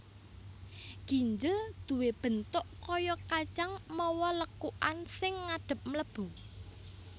Ginjel duwé bentuk kaya kacang mawa lekukan sing ngadhep mlebu